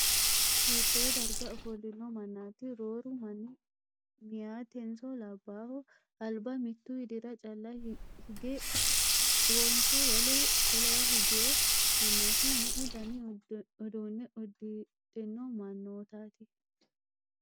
Hiittoo darga offollino mannaati? Rooru manni meeyatenso labbayho? Alba mittu widira calla higeewonso wole wolewa higeewo mannaati? Meu dani uduunne uddidhino mannootaati?